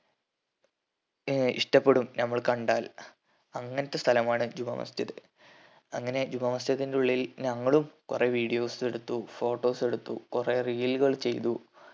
ഏർ ഇഷ്ടപ്പെടും ഞമ്മള് കണ്ടാൽ അങ്ങൻത്തെ സ്ഥലമാണ് ജുമാ മസ്ജിദ് അങ്ങനെ ജുമാമസ്ജിദിന്റെ ഉള്ളിൽ ഞങ്ങളും കൊറേ videos എടുത്തു photos എടുത്തു കൊറേ reel കൾ ചെയ്തു